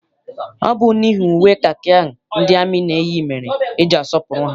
Ọ bụ n'ihi uwe kakị ahụ ndị amị na-eyi mere eji asọpụrụ ha.